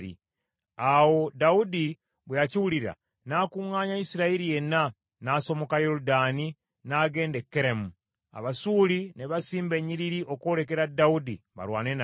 Awo Dawudi bwe yakiwulira, n’akuŋŋaanya Isirayiri yenna n’asomoka Yoludaani n’agenda e Keramu. Abasuuli ne basimba ennyiriri okwolekera Dawudi balwane naye.